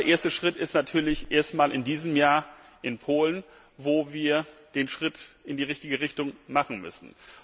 Aber der erste Schritt ist natürlich erstmal in diesem Jahr der in Polen, wo wir den Schritt in die richtige Richtung machen müssen.